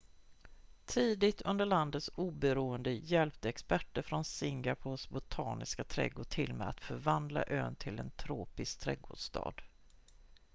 tidigt under landets oberoende hjälpte experter från singapores botaniska trädgård till med att förvandla ön till en tropisk trädgårdsstad